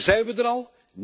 Maar zijn we er al?